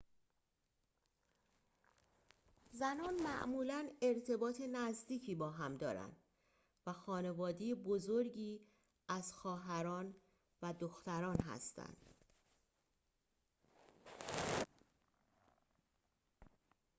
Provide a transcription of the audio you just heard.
زنان معمولاً ارتباط نزدیکی با هم دارند و خانواده بزرگی از خواهران و دختران هستند